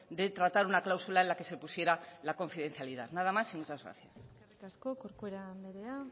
de tratar una cláusula en la que se pusiera la confidencialidad nada más y muchas gracias eskerrik asko corcuera andrea